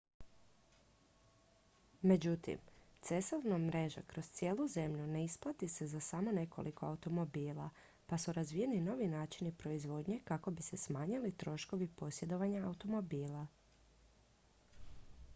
međutim cestovna mreža kroz cijelu zemlju ne isplati se za samo nekoliko automobila pa su razvijeni novi načini proizvodnje kako bi se smanjili troškovi posjedovanja automobila